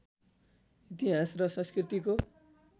इतिहास र संस्कृतिको